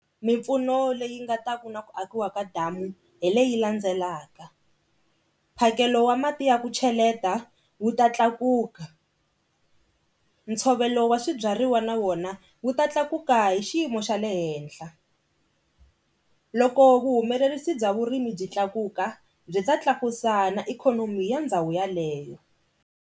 Mimpfuno leyi nga ta ku na ku akiwa ka damu hi leyi landzelaka mphakelo wa mati ya ku cheleta wu ta tlakuka. Ntshovelo wa swi byariwa na wona wu ta tlakuka hi xiyimo xa le henhla loko vuhumelerisa bya vurimi byi tlakuka byi ta tlakusa na ikhonomi ya ndhawu yaleyo.